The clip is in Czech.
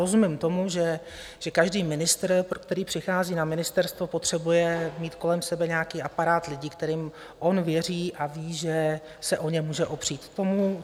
Rozumím tomu, že každý ministr, který přichází na ministerstvo, potřebuje mít kolem sebe nějaký aparát lidí, kterým on věří a ví, že se o ně může opřít.